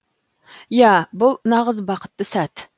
иә бұл нағыз бақытты сәт